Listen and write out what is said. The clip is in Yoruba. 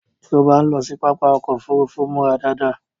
Tí ó bá ń lọ sí pápá ọkọ òfúrúúfú, múra dáadáa